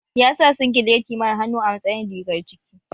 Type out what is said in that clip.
Ya sa singileti mara hannu a matsayin rigar ciki